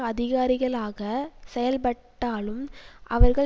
அதிகாரிகளாக செயல்பட்டாலும் அவர்கள்